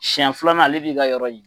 Siɛn filanan ale b'i ka yɔrɔ ye.